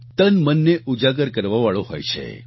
તનમનને ઉજાગર કરવાવાળો હોય છે